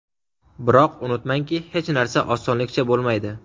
Biroq unutmangki, hech narsa osonlikcha bo‘lmaydi.